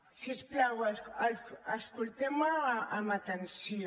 si us plau escolteu me amb atenció